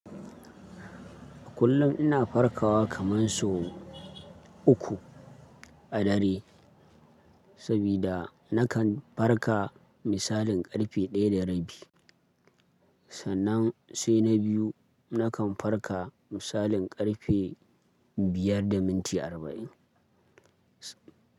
Kullum ina farkawa kaman so uku a dare, sabida nakan farka misalin karfe daya da rabi. Sannan sai na biyu nakan farka misalin karfe biyar da minti arba'in.